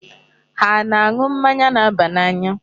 Ha ana-aṅụ mmanya na-aba n'anya?